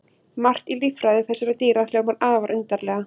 Margt í líffræði þessara dýra hljómar afar undarlega.